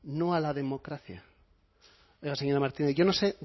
no a la democracia oiga señora martínez yo no sé